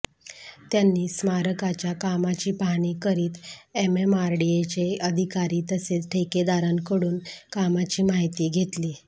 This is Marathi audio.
त्यांनी स्मारकाच्या कामाची पाहणी करीत एमएमआरडीएचे अधिकारी तसेच ठेकेदारांकडून कामाची माहिती घेतली